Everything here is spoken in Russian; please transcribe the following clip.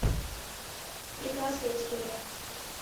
прекрасная история